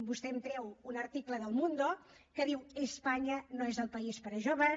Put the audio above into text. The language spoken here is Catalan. vostè em treu un article de el mundo que diu no és el país per a joves